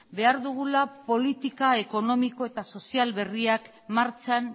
behar dugula politika ekonomiko eta sozial berriak martxan